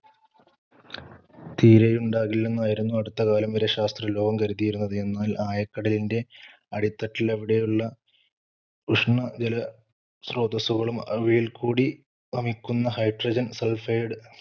തീരെയുണ്ടാകില്ലെന്നായിരുന്നു അടുത്തകാലം വരെ ശാസ്ത്രലോകം കരുതിയിരുന്നത്. എന്നാൽ ആയക്കടലിന്‍റെ അടിത്തട്ടിൽ അവിടെയുള്ള ഉഷ്ണജലസ്രോതസ്സുകളും അവയിൽക്കൂടി വമിക്കുന്ന hydregen suphaid